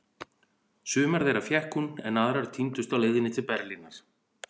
Sumar þeirra fékk hún, en aðrar týndust á leiðinni til Berlínar.